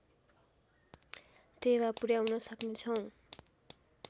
टेवा पुर्‍याउन सक्नेछौँ